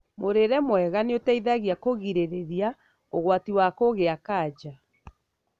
Mũrĩĩre mwega nĩ ũteithagia kũgirĩrĩria ũgwati wa kũgĩa kanja.